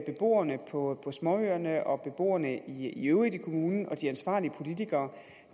beboerne på småøerne og beboerne i øvrigt i kommunen og de ansvarlige politikere